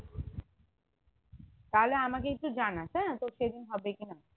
তাহলে আমাকে একটুঁ জানাস হ্যাঁ তোর সেদিন হবে কি না